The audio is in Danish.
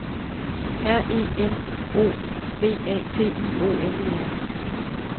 R E N O V A T I O N E R